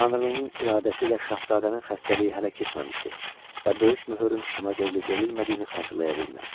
Tanrının iradəsi ilə şahzadənin xəstəliyi hələ keçməmişdi və böyük möhürün ona verilib-verilmədiyini xatırlaya bilmir.